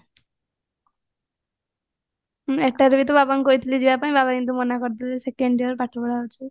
ଏଟାରେ ବି ତ ବାବଙ୍କୁ କହିଥିଲି ଯିବା ପାଇଁ ବାବା କିନ୍ତୁ ମନା କରିଦେଲେ second year ପାଠ ପଢା ଅଛି